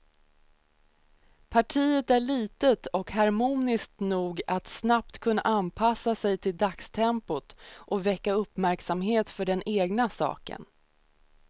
Partiet är litet och harmoniskt nog att snabbt kunna anpassa sig till dagstempot och väcka uppmärksamhet för den egna saken.